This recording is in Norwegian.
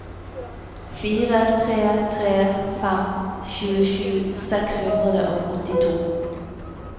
fire tre tre fem tjuesju seks hundre og åttito